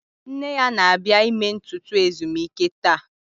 Nne ya na-abịa ime ntutu ezumike taa